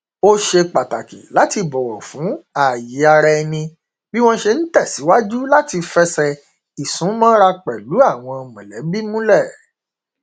ó ṣe pàtàkì láti bọwọ fún fún ààye ara ẹni bí wọn ṣe n tẹsìwájú láti fẹsẹ ìsúmọra pẹlú àwọn mọlẹbí